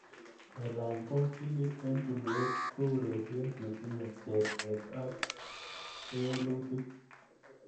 Kelany baskilit eng tulweet ko ureriet ne tinyei cherset ak kewelutik